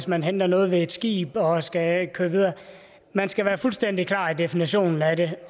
man henter noget ved et skib og skal køre videre man skal være fuldstændig klar i definitionen af det